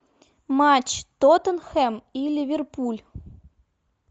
матч тоттенхэм и ливерпуль